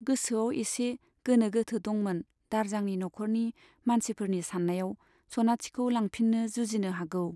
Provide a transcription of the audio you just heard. गोसोआव एसे गोनो गोथो दंमोन दारजांनि नखरनि मानसिफोरनि सान्नायाव, सनाथिखौ लांफिन्नो जुजिनो हागौ।